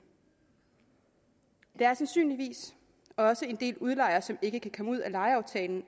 der er sandsynligvis også en del udlejere som ikke kan komme ud af lejeaftalen